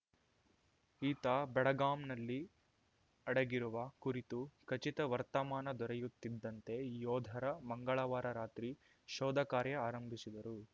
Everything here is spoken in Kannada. ಈತ ಬಡಗಾಮ್‌ನಲ್ಲಿ ಅಡಗಿರುವ ಕುರಿತು ಖಚಿತ ವರ್ತಮಾನ ದೊರೆಯುತ್ತಿದ್ದಂತೆ ಯೋಧರ ಮಂಗಳವಾರ ರಾತ್ರಿ ಶೋಧ ಕಾರ್ಯ ಆರಂಭಿಸಿದರು